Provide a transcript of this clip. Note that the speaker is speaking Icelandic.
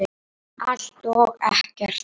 Allt og ekkert